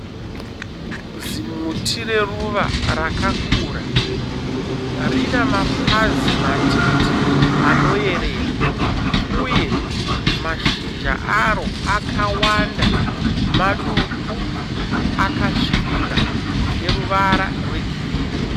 Zimuti reruva rakakura rine mapazi matete anoyerera, uye mashizha aro akawanda maduku, akasvibira, ane ruvara rwegirini.